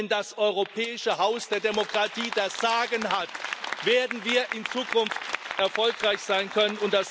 Nur wenn das europäische Haus der Demokratie das Sagen hat, werden wir in Zukunft erfolgreich sein können.